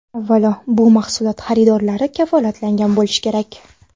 Avvalo, bu mahsulot xaridorlari kafolatlangan bo‘lishi kerak.